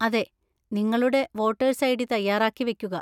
അതെ. നിങ്ങളുടെ voters ID. തയ്യാറാക്കി വയ്ക്കുക.